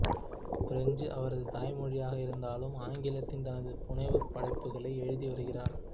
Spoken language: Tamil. பிரெஞ்சு அவரது தாய்மொழியாக இருந்தாலும் ஆங்கிலத்தின் தனது புனைவுப் படைப்புகளை எழுதி வருகிறார்